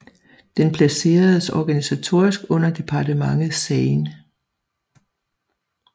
Den placeredes organisatorisk under departementet Seine